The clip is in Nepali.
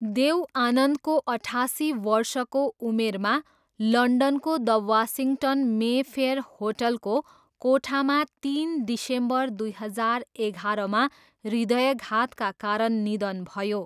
देव आनन्दको अठासी वर्षको उमेरमा लन्डनको द वासिङ्गटन मेफेयर होटलको कोठामा तिन डिसेम्बर दुई हजार एगाह्रमा हृदयाघातका कारण निधन भयो।